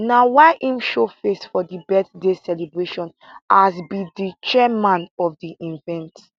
na why im showface for di birthday celebration as be di chairman of di event